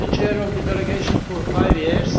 I was the Chair of the Delegation for five years.